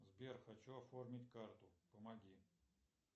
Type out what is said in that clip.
сбер хочу оформить карту помоги